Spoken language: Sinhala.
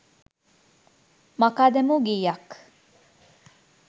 මකා දැමූ ගීයක්